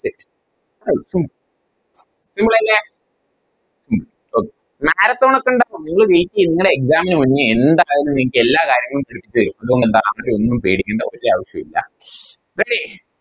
Okay Clear ആയില്ലേ ഉം okayMarathon ഒക്കെ ഇണ്ടാവും നിങ്ങള് Wait ചെയ് നിങ്ങളെ Exam നു മുന്നേ എന്തായാലും നിങ്ങൾക്കെല്ലാ കാര്യങ്ങളും പഠിപ്പിച്ചേരും അതുകൊണ്ടെന്താ അങ്ങനെയൊന്നും പേടിക്കണ്ട ഒരവശ്യോ ഇല്ല Ready